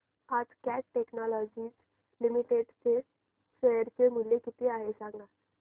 आज cat technologies limited चे share चे मूल्य किती आहे सांगा